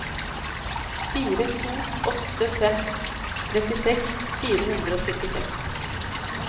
fire to åtte fem trettiseks fire hundre og syttiseks